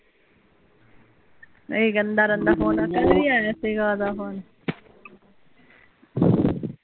ਏਹੀ ਕਹਿੰਦਾ ਰਹਿੰਦਾ ਹੁੰਦਾ ਕੱਲ ਵੀ ਆਇਆ ਸੀਗਾ ਓਹਦਾ ਫੋਨ